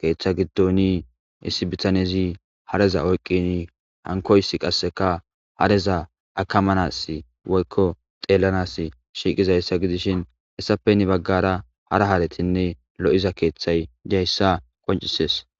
keeththa giddonii issi bitanezi hareza oyqqini hankoys qasseka hareza akamanas woykko teellanas shiiqizayssa gidishin hessape hini baggara hara haaratinne lo7iza keeththay di7ayssa qoncisees